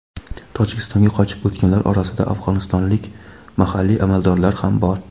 Tojikistonga qochib o‘tganlar orasida afg‘onistonlik mahalliy amaldorlar ham bor.